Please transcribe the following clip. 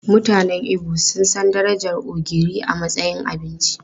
Mutanen Igbo sun san darajar ogiri a matsayin abinci.